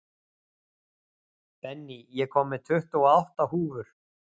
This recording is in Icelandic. Benný, ég kom með tuttugu og átta húfur!